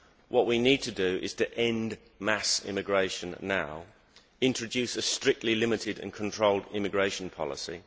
What we need to do is end mass immigration now and introduce a strictly limited and controlled immigration policy.